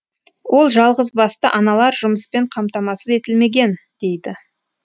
ол жалғызбасты аналар жұмыспен қамтамасыз етілмеген дейді